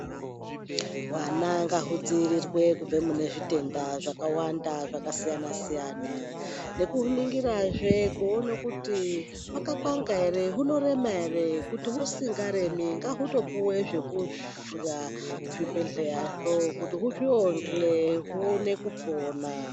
Vana ngahudzivirire kubva mune zvitenda zvakawanda zvakasiyana-siyana. Nekuningirazve kuone kuti hwakapanga ere, hunorema ere kuti usingaremi ngautopuva zvekurya kuzvibhedhleyazvo kuti huzviyonje huone kupona.